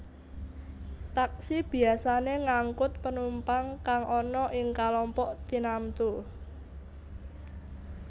Taksi biyasané ngangkut penumpang kang ana ing kalompok tinamtu